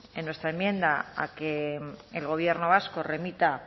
en nuestra enmienda a que el gobierno vasco remita a